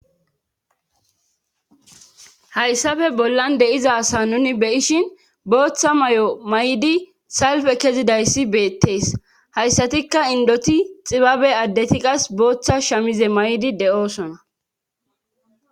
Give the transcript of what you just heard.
hayssafe bollan de7iza asa nuni beyishin booththa may7o may7di salfe kezidayssi beettees hayssatikka indoti xibabe addeti qas booththa shamize may7di de7oosona